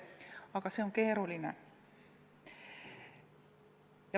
Aga see on keeruline.